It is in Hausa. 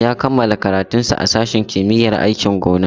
Ya kammala karatunsa a sashen kimiyyar aikin gona.